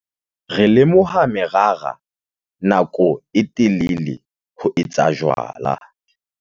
re lomoha merara nako e telele ho etsa jwala